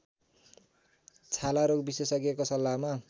छालारोग विशेषज्ञको सल्लाहमा